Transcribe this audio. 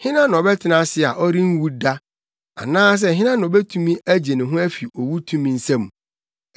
Hena na ɔbɛtena ase a ɔrenwu da? Anaasɛ hena na obetumi agye ne ho afi owu tumi nsam?